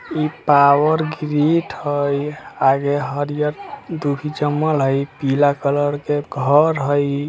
इ power grid हई आगे हरिहर दूब जमल हई। ई पीला कलर के घर हई ।